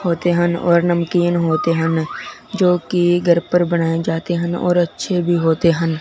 होते हन और नमकीन होते हन जो की घर पर बनाए जाते हन और अच्छे भी होते हन ।